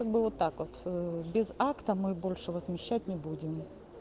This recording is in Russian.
и было так вот без акта мы больше возмещать не будем